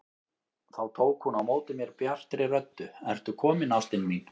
Þá tók hún á móti mér bjartri röddu: Ertu kominn ástin mín!